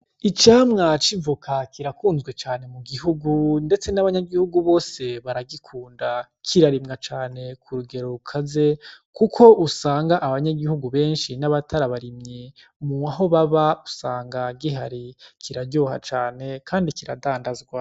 Icamwa c'ivoka kirakunzwe cane mu gihugu ndetse nabanyagihugu bose baragikunda kirarimwa cane kurugero rukaze kuko usanga abanyagihugu benshi n'abatarabarimyi mwaho baba usanga gihari kiraryoha cane kandi usanga gihari.